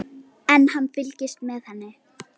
En hann fylgist með henni.